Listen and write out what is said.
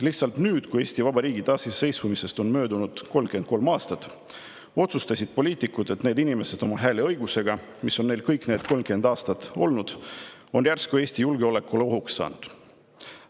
Lihtsalt nüüd, kui Eesti Vabariigi taasiseseisvumisest on möödunud 33 aastat, otsustasid poliitikud, et need inimesed oma hääleõigusega, mis on neil kõik need enam kui 30 aastat olnud, on järsku Eesti julgeolekule ohuks saanud.